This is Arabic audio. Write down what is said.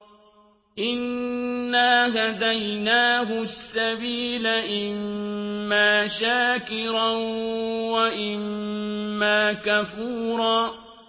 إِنَّا هَدَيْنَاهُ السَّبِيلَ إِمَّا شَاكِرًا وَإِمَّا كَفُورًا